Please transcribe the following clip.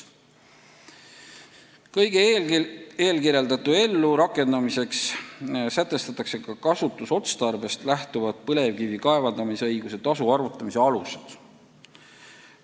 Kõige eelkirjeldatu ellurakendamiseks sätestatakse ka kasutusotstarbest lähtuvad põlevkivi kaevandamisõiguse tasu arvutamise alused.